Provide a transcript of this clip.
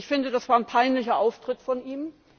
Ich finde, das war ein peinlicher Auftritt von